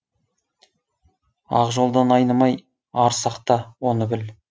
ақ жолдан айнымай ар сақта оны біл